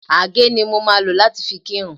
Àgé ni mo máa lò láti fi kírun